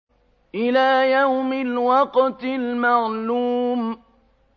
إِلَىٰ يَوْمِ الْوَقْتِ الْمَعْلُومِ